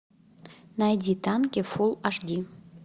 найди танки фулл аш ди